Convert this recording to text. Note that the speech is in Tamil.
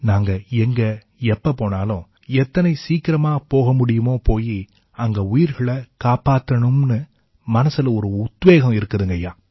நாங்க எங்க எப்ப போனாலும் எத்தனை சீக்கிரமா போக முடியுமோ போயி அங்க உயிர்களைக் காப்பாத்தணும்னு மனசுல ஒரு உத்வேகம் இருக்குதுங்க ஐயா